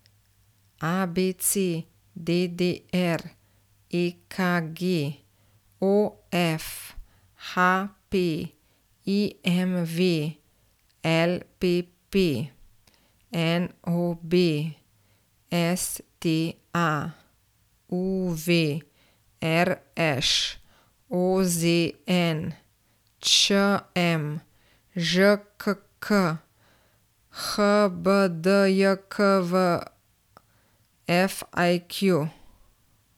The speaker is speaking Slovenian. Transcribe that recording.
ABC, DDR, EKG, OF, HP, IMV, LPP, NOB, STA, UV, RŠ, OZN, ČM, ŽKK, HBDJKV, FAQ.